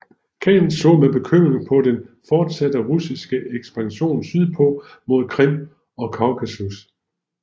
Khanen så med bekymring på den fortsatte russiske ekspansion sydpå mod Krim og Kaukasus